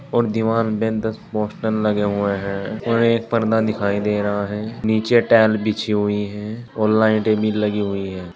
और दीवार पे दस पोस्टर लगे हुए हैं और एक पर्दा दिखाई दे रहा है नीचे टाइल्स बिछी हुई है और लाइटें भी लगी हुई है।